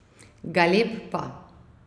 Galeb pa...